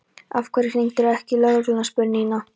Af hverju hringdirðu ekki í lögregluna? spurði Nína.